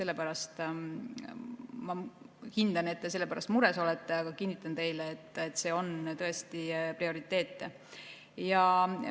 Ma hindan, et te selle pärast mures olete, aga kinnitan teile, et see on tõesti prioriteet.